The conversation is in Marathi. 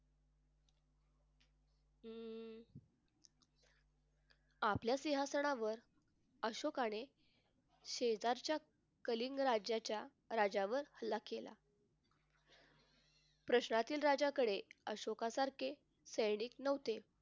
आपल्या सिंहासनावर अशोकाने शेजारच्या कलिंग राज्याच्या राज्यावर हल्ला केला प्रश्नाची राज्याकडे अशोका सारखे सैनिक नव्हते.